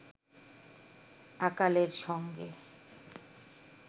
আকালের সঙ্গে